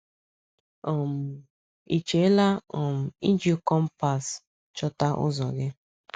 um Ị chela um iji kọ̀mpas chọta ụzọ gị?